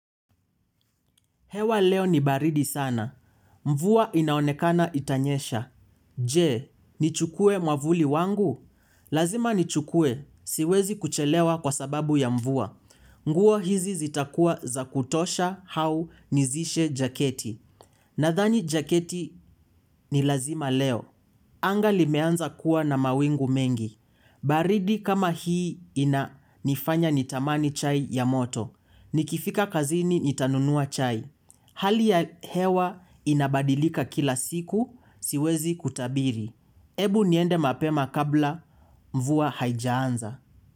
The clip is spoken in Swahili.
Hewa leo ni baridi sana. Mvua inaonekana itanyesha. Je, nichukuwe mwavuli wangu? Lazima nichukue. Siwezi kuchelewa kwa sababu ya mvua. Nguo hizi zitakua za kutosha hau nizishe jaketi. Nathani jaketi ni lazima leo. Anga limeanza kuwa na mawingu mengi. Baridi kama hii ina nifanya nitamani chai ya moto. Nikifika kazini nitanunua chai. Hali ya hewa inabadilika kila siku siwezi kutabiri. Ebu niende mapema kabla mvua haijaanza.